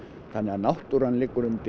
þannig að náttúran liggur undir